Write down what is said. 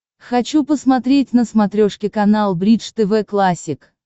хочу посмотреть на смотрешке канал бридж тв классик